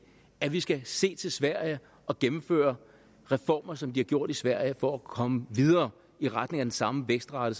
at vi skal se til sverige og gennemføre reformer som de har gjort i sverige for at komme videre i retning af den samme vækstrate